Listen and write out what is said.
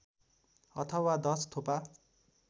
अथवा १० थोपा